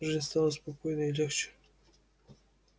жизнь стала спокойной и легче